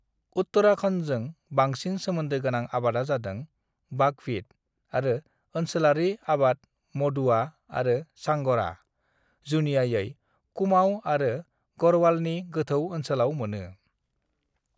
"उत्तराखन्डजों बांंसिन सोमोन्दो गोनां आबादा जादों बाकविट आरो ओनसोलारि आबाद मदुवा आरो झांग'रा, जुनियायै कुमाऊं आरो गढ़वालनि गोथौ ओनसोलाव मोनो।"